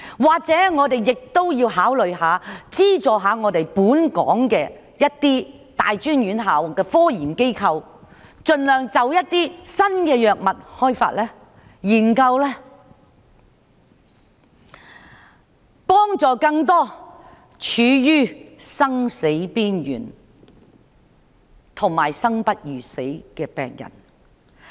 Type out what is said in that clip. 或者我們也要考慮資助本港一些大專院校的科研機構，盡量開發和研究一些新藥物，以幫助更多處於生死邊緣和生不如死的病人？